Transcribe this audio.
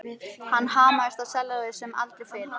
Hann hamaðist á sellóið sem aldrei fyrr.